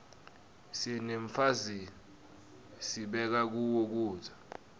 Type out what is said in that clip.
senemafizij sibeka kuwo kudza